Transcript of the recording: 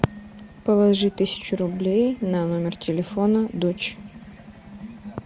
положи тысячу рублей на номер телефона дочь